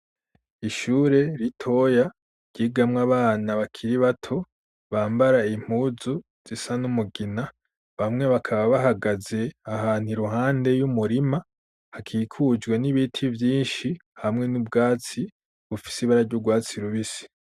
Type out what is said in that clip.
Ishure ritoya ry'igamwa abana bakiri bato bambara impuzu zisa n'umugina bamwe bakaba bahagaze ahantu iruhande y'umurima hakikujwe n'ibiti byinshi hamwe n'ubwatsi bufise ibara jy'ubwatsi rubisi.